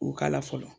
U k'a la fɔlɔ